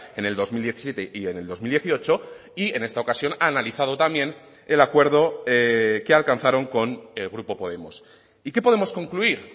en el dos mil diecisiete y en el dos mil dieciocho y en esta ocasión ha analizado también el acuerdo que alcanzaron con el grupo podemos y qué podemos concluir